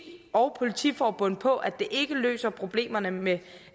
og politiforbundet på at det ikke løser problemerne med